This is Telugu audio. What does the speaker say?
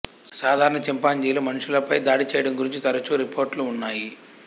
సాధారణ చింపాంజీలు మనుషులపై దాడి చేయడం గురించి తరచు రిపోర్టులు ఉన్నాయి